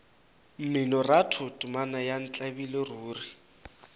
mminoratho temana ya ntlabile ruri